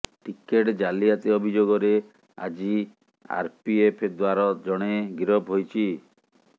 ticket ଜାଲିଆତି ଅଭିଯୋଗରେ ଆଜି ଆରପିଏଫ ଦ୍ୱାର ଜଣେ ଗିରଫ ହୋଇଛି